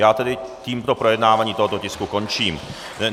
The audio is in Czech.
Já tedy tímto projednávání tohoto tisku končím.